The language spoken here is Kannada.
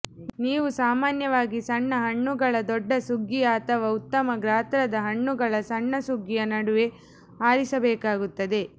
ನೀವು ಸಾಮಾನ್ಯವಾಗಿ ಸಣ್ಣ ಹಣ್ಣುಗಳ ದೊಡ್ಡ ಸುಗ್ಗಿಯ ಅಥವಾ ಉತ್ತಮ ಗಾತ್ರದ ಹಣ್ಣುಗಳ ಸಣ್ಣ ಸುಗ್ಗಿಯ ನಡುವೆ ಆರಿಸಬೇಕಾಗುತ್ತದೆ